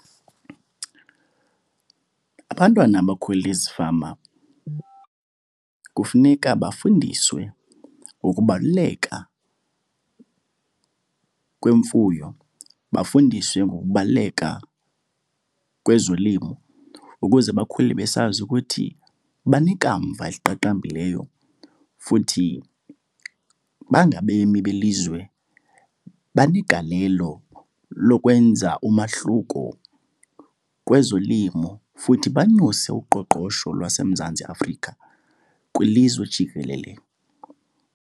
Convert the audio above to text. Abantwana abakhulele ezifama kufuneka bafundiswe ngokubaluleka kwemfuyo, bafundiswe ngokubaluleka kwezolimo ukuze bakhule besazi ukuthi banekamva eliqaqambileyo. Futhi bangabemi belizwe banegalelo lokwenza umahluko kwezolimo futhi banyuse uqoqosho lwaseMzantsi Afrika kwilizwe jikelele.